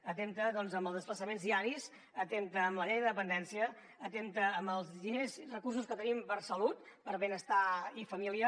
atempta doncs en els desplaçaments diaris atempta en la llei de dependència atempta en els recursos que tenim per a salut per a benestar i família